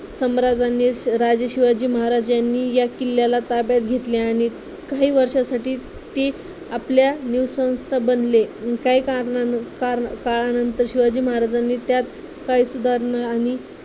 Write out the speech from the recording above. सम्राजांनी राजा शिवाजी महाराजांनी या किल्ल्याला ताब्यात घेतले आणि काही वर्षासाठी ते आपल्या बनले काही कारणाने कारणा काळानंतर शिवाजी महाराजांनी त्यात काही सुधारणा आणि